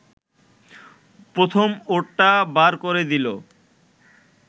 প্রমথ ওরটা বার করে দিল